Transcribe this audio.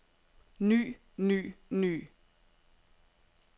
ny ny ny